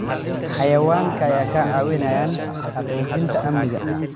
Xayawaanka ayaa ka caawiya xaqiijinta amniga.